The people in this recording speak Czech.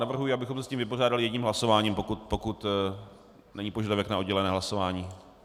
Navrhuji, abychom se s tím vypořádali jedním hlasováním, pokud není požadavek na oddělené hlasování.